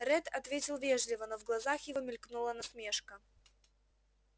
ретт ответил вежливо но в глазах его мелькнула насмешка